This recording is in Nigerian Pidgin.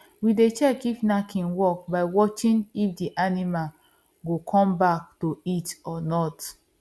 we dey check if knacking work by watching if the animal go come back to heat or not